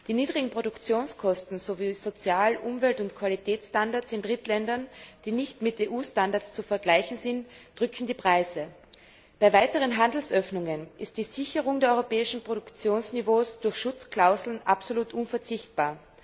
Die niedrigen Produktionskosten sowie Sozial Umwelt und Qualitätsstandards in Drittländern, die nicht mit EU Standards zu vergleichen sind, drücken die Preise. Bei weiteren Handelsöffnungen ist die Sicherung der europäischen Produktionsniveaus durch Schutzklauseln absolut unverzichtbar.